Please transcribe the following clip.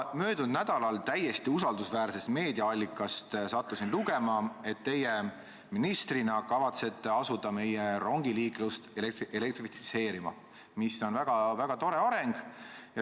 Möödunud nädalal sattusin ma täiesti usaldusväärsest meediaallikast lugema, et teie ministrina kavatsete asuda meie rongiliiklust elektrifitseerima, mis on väga tore areng.